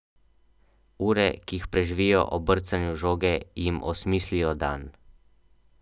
Ure, ki jih preživijo ob brcanju žoge, jim osmislijo dan.